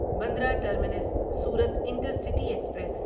Bandra terminus Surat intercity express